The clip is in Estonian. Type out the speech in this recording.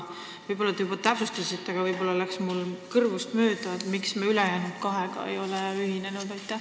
Võib-olla te seda juba ütlesite, aga mul läks see kõrvust mööda, ent miks me ülejäänud kahega ei ole ühinenud?